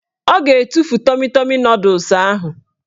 Ọ ga-etufu tọmi tọmi nọdụs ahụ